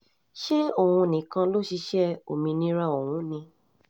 ṣé òun nìkan ló ṣiṣẹ́ òmìnira ọ̀hún ni